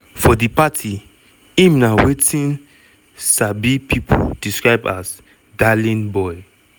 for di party im na wetin sabi pipo describe as "darling boy".